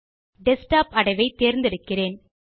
desktop அடைவை தேர்ந்தெடுக்கிறேன்